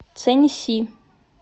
цэньси